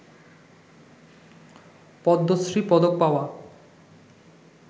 পদ্মশ্রী পদক পাওয়া